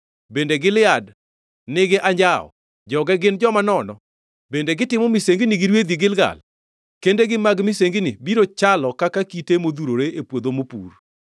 Bende Gilead nigi anjawo? Joge gin joma nono! Bende gitimo misengini gi rwedhi, Gilgal? Kendegi mag misengini biro chalo, kaka kite modhurore e puodho mopur.